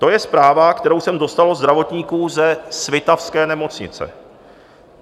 To je zpráva, kterou jsem dostal od zdravotníků ze svitavské nemocnice.